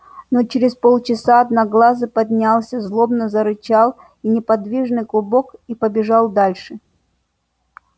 но через полчаса одноглазый поднялся злобно зарычал неподвижный клубок и побежал дальше